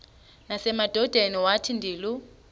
nasemadodeni wathi ndilu